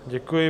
Děkuji.